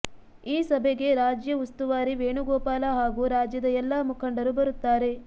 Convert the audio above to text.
ಈ ಸಭೆಗೆ ರಾಜ್ಯ ಉಸ್ತುವಾರಿ ವೇಣುಗೋಪಾಲ ಹಾಗೂ ರಾಜ್ಯದ ಎಲ್ಲ ಮುಖಂಡರು ಬರುತ್ತಾರೆ